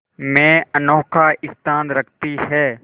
में अनोखा स्थान रखती है